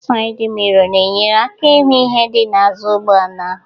sayịd miro na-enyere aka ịhụ ihe dị n'azụ ụgbọala